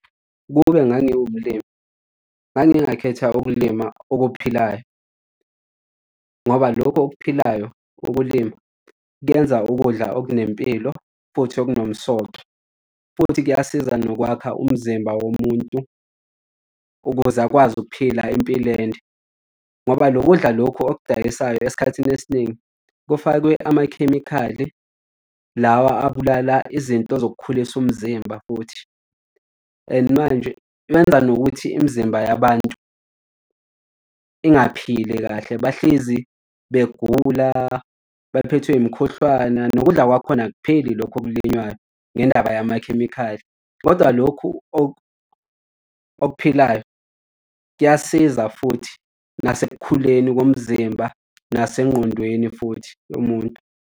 Ukube ngangiwumlimi ngingakhetha ukulima okuphilayo ngoba lokho okuphilayo ukulima kwenza ukudla okunempilo futhi okunomsoco, futhi kuyasiza nokwakha umzimba womuntu futhi ukuze akwazi ukuphila impilo ende. Ngoba lo kudla lokhu okudayisayo esikhathini esiningi kufakwe amakhemikhali lawa abulala izinto zokukhulisa umzimba futhi, and manje kwenza nokuthi imizimba yabantu ingaphili kahle. Bahlezi begula bephethwe imikhuhlane nokudla kwakhona akupheli lokho okulinywayo ngendaba yamakhemikhali. Kodwa lokhu okuphilayo kuyasiza futhi nasekukhuleni komzimba nasengqondweni futhi yomuntu.